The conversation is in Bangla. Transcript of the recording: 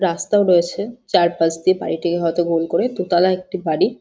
রাস্তার পাশে চারপাশ দিয়ে বাড়িটিকে হয়তো গোল করে দু তোলা একটি বাড়ি।